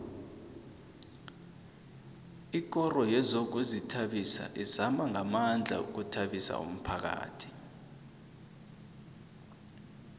ikoro yezokuzithabisa izama ngamandla ukuthabisa umphakhathi